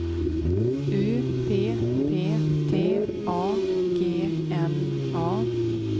U P P T A G N A